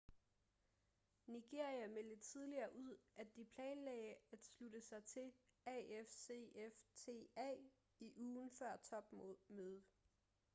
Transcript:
nigeria meldte tidligere ud at de planlagde at slutte sig til afcfta i ugen før topmødet